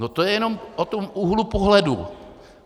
No to je jenom o tom úhlu pohledu.